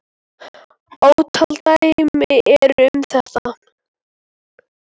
Ótal dæmi eru um þetta.